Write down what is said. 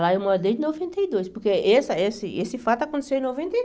Lá eu moro desde noventa e dois, porque esse esse esse fato aconteceu em noventa e